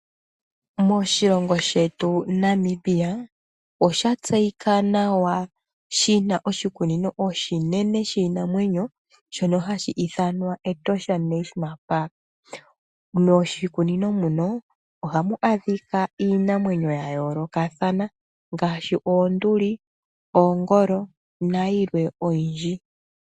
Moshilongo shetu Namibia osha tseyika nawa shina oshikunino oshinene shiinamwenyo shono hashi ithanwa Etosha National Park